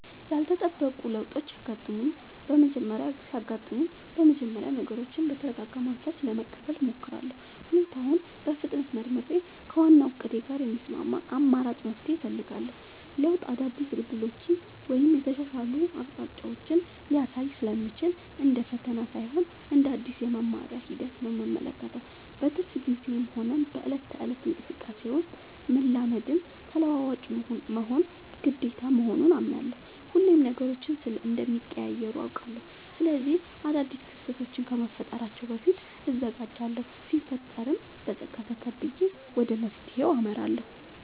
ያልተጠበቁ ለውጦች ሲያጋጥሙኝ በመጀመሪያ ነገሮችን በተረጋጋ መንፈስ ለመቀበል እሞክራለሁ። ሁኔታውን በፍጥነት መርምሬ፣ ከዋናው እቅዴ ጋር የሚስማማ አማራጭ መፍትሄ እፈልጋለሁ። ለውጥ አዳዲስ ዕድሎችን ወይም የተሻሉ አቅጣጫዎችን ሊያሳይ ስለሚችል፣ እንደ ፈተና ሳይሆን እንደ አዲስ የመማሪያ ሂደት ነው የምመለከተው። በትርፍ ጊዜዬም ሆነ በዕለት ተዕለት እንቅስቃሴዬ ውስጥ፣ መላመድና ተለዋዋጭ መሆን ግዴታ መሆኑን አምናለሁ። ሁሌም ነገሮች እንደሚቀያየሩ አውቃለሁ። ስለዚህ አዳዲስ ክስተቶች ከመፈጠራቸው በፊት እዘጋጃለሁ ሲፈጠርም በፀጋ ተቀብዬ ወደ መፍትሄው አመራለሁ።